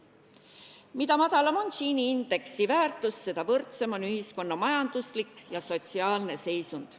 Mida madalam on Gini indeksi väärtus, seda võrdsem on ühiskonna majanduslik ja sotsiaalne seisund.